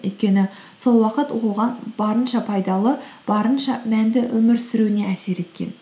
өйткені сол уақыт оған барынша пайдалы барынша мәнді өмір сүруіне әсер еткен